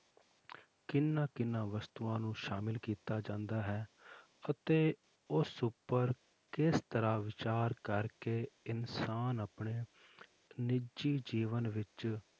ਕਿਹਨਾਂ ਕਿਹਨਾਂ ਵਸਤੂਆਂ ਨੂੰ ਸ਼ਾਮਿਲ ਕੀਤਾ ਜਾਂਦਾ ਹੈ ਤੇ ਉਸ ਉੱਪਰ ਕਿਸ ਤਰ੍ਹਾਂ ਵਿਚਾਰ ਕਰਕੇ ਇਨਸਾਨ ਆਪਣੇ ਨਿੱਜੀ ਜੀਵਨ ਵਿੱਚ